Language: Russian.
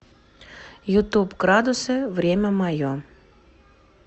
ютуб градусы время мое